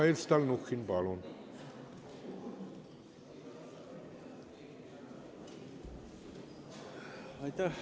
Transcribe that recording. Mihhail Stalnuhhin, palun!